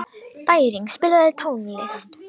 Bæring, spilaðu tónlist.